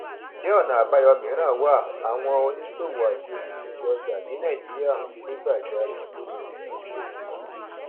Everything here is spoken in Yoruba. njẹ ọnà àbáyọ mìíràn wà àwọn oníṣòwò àti olùpèsè ọjà ní nàìjíríà ń ké gbájárè lórí ẹkúnwó díìsẹl